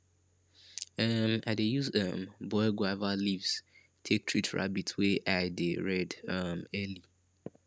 um i dey use um boiled guava leaves take treat rabbit wey eye dey red um early